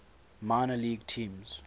minor league teams